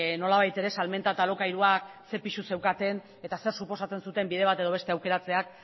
nolabait ere salmenta eta alokairuak ze pisu zeukaten ez zer suposatzen zuten bide bat edo beste aukeratzeak